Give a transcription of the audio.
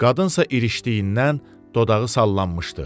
Qadınsa irişdiyindən dodağı sallanmışdı.